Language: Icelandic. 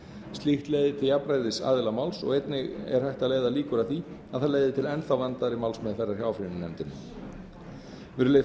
slíkt leiðir til jafnræðis aðila máls og einnig er hægt að leiða líkur að því að það leiði til enn þá vandaðri málsmeðferðar hjá áfrýjunarnefndinni virðulegi